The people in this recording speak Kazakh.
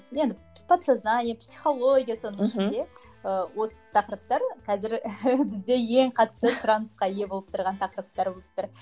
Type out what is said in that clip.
енді подсознание психология соның ішінде ыыы осы тақырыптар қазір бізде ең қатты сұранысқа ие болып тұрған тақырыптар болып тұр